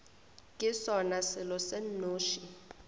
ke sona selo se nnoši